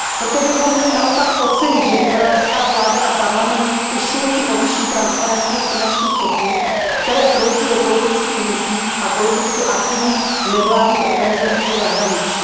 Proto bychom měli naopak ocenit, že izraelská vláda a parlament usilují o vyšší transparentnost finančních toků, které proudí do politických hnutí a politicky aktivních nevládních organizací ze zahraničí.